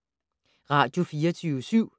Radio24syv